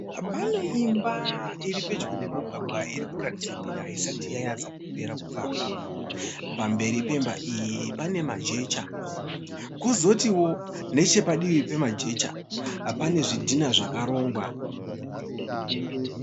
Pane imba iripedyo nemugwagwa irikuratidza kuti haisati yanyatsakupera kuvakwa. Pamberi pemba iyi pane majecha kwozotiwo nechepadivi pemajecha pane zvidhina zvakarongwa.